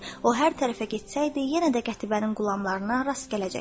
O hər tərəfə getsəydi, yenə də qətibərin qulamlarına rast gələcəkdi.